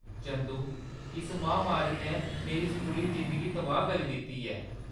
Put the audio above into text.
चंदू, इस महामारी नै मेरी स्कूली जिंदगी तबाह्‌‌ करी दित्ती ऐ।